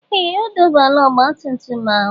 Ee! Ọ dọbala ọgbatumtum ahụ.